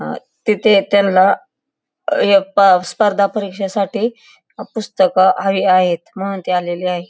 अ तिथे त्यांला य ए पा स्पर्धा परीक्षेसाठी पुस्तक हवी आहेत म्हणून ते आलेले आहे.